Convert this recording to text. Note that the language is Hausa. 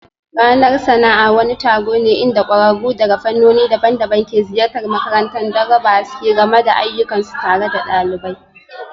Ranar sana'a wani taron ne inda kwararru daga fannoni daban-daban ke ziyartar makarantar don raba haske game da ayyukansu tare da ɗalibai